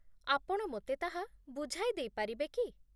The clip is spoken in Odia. ଆପଣ ମୋତେ ତାହା ବୁଝାଇ ଦେଇପାରିବେ କି?